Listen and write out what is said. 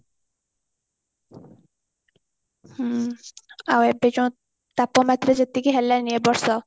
ହୁଁ ଆଉ ଏବେ ଯୋଉ ତାପମାତ୍ରା ଯେତିକି ହେଲାଣି ଏବର୍ଷ